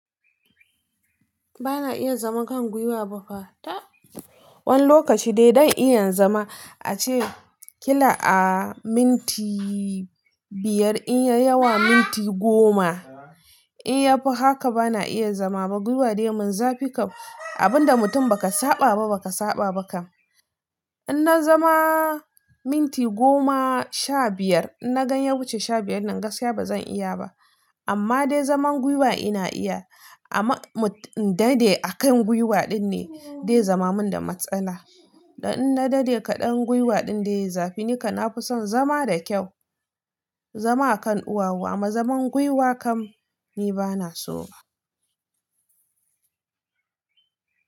Ba na iya zama kan gwiwa ba fa. Tab wani lokaci dai don iya zama ace kila a minti biyar in ya yi yawa minti goma. In ya fi haka ba na iya zama ba. Gwiwa dai mun zafi kam. Abin da mutum ba ka saɓa ba, ba ka saɓa ba kam. In na zama minti goma sha biyar, in na gani ya wuce sha biyar nan gaskiya ba zan iya ba. Amma dai zaman gwiwa ina iya. Amma in daɗe a kan gwiwa ɗin ne dai zama mun da matsala. Dan in na daɗe kaɗan gwiwa ɗin dai zafi ni ka na fi son zama da kyau, zama a kan ɗuwawu amma zaman gwiwa kam ni ba na so ba.